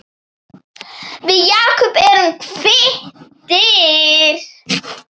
Við Jakob erum kvittir